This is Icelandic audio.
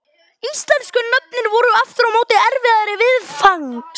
Íslensku nöfnin voru aftur á móti erfiðari viðfangs.